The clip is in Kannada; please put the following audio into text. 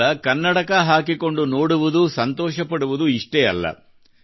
ಕೇವಲ ಕನ್ನಡಕ ಹಾಕಿ ನೋಡುವುದು ಸಂತೋಷ ಪಡುವುದು ಇಷ್ಟೇ ಅಲ್ಲ